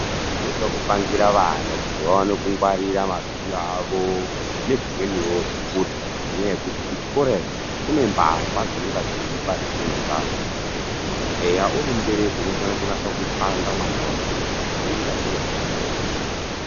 Zvinoda kupangira vana kuti vaone kungwarira mabhilo awo nezvimweniwo zvekurya, ngenyaya yekuti kuchikora iyo, kune mbavha dzinonga dzeiba zvimweni zveamweni. Eya uri mubereki unofanira kunasa kupanga mwana wako kuti, ngwarira zviro zvako.